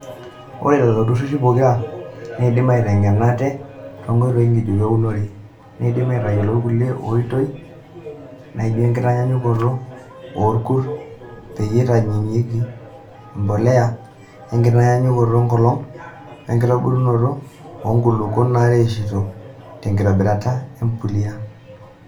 Ore lelo tururi pokira neidim aiteng'ena ate nkoitoi ng'ejuko eunore, neidim atayiolo kulie oitoi naijio enkitayunoto oorkurt peyie eitayunyieki empuliya, enkitayunoto enkolong' wenkitobirunoto oo nkukuni naretisho tenkitobirata empuliya.